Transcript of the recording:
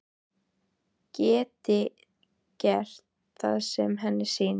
Geti gert það sem henni sýnist.